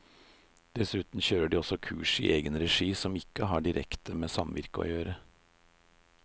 Dessuten kjører de også kurs i egen regi som ikke har direkte med samvirke å gjøre.